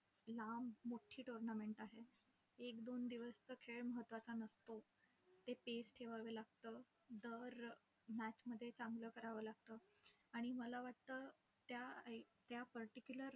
लांब मोट्ठी tournament आहे. एक दोन दिवसचा खेळ महत्वाचा नसतो. ते pace ठेवावी लागतं, दर match मध्ये चांगल करावं लागतं आणि मला वाटतं त्या particular